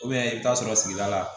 i bɛ taa sɔrɔ sigida la